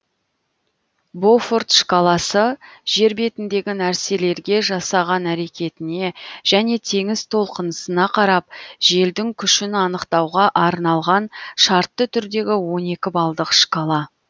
бофорт шкаласы жер бетіндегі нәрселерге жасаған әрекетіне және теңіз толқынысына қарап желдің күшін анықтауға арналған шартты түрдегі он екі балдық шкала